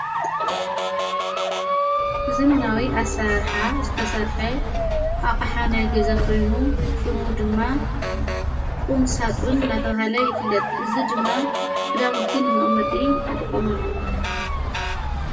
ዝ መናዊ ኣሠራርኃ ዝተሠርሐ ኣቕሓናይ ገዛኾኑ ሽሙ ድማ ቊምሳጡን ናተብሃለ ይፍለጥ እዝ ድማ ኽዳሙቲን መቕመጢ ንጥቖሙሉ።